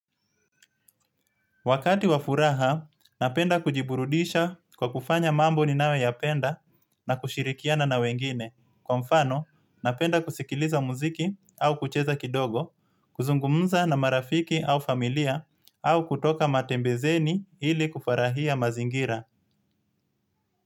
Wakati wa furaha, napenda kujiburudisha kwa kufanya mambo ni nayo ya penda na kushirikiana na wengine. Kwa mfano, napenda kusikiliza muziki au kucheza kidogo, kuzungumza na marafiki au familia au kutoka matembezini ili kufarahia mazingira.